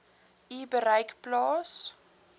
u bereik plaas